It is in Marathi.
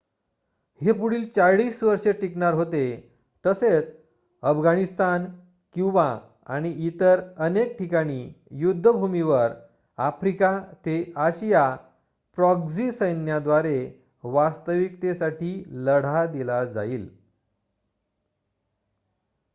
हे पुढील 40 वर्षे टिकणार होते तसेच अफगाणिस्तान क्युबा आणि इतर अनेक ठिकाणी युद्धभूमीवर आफ्रिका ते आशिया प्रॉक्सी सैन्याद्वारे वास्तविकतेसाठी लढा दिला जाईल